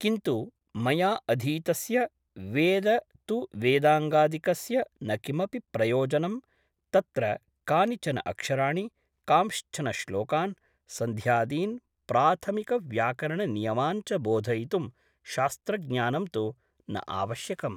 किन्तु मया अधीतस्य वेद ' तु वेदाङ्गादिकस्य न किमपि प्रयोजनं तत्र कानिचन अक्षराणि , कांश्चन श्लोकान् , सन्ध्यादीन् प्राथमिकव्याकरणनियमान् च बोधयितुं शास्त्रज्ञानं तु न आवश्यकम् ।